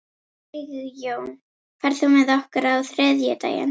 Sigjón, ferð þú með okkur á þriðjudaginn?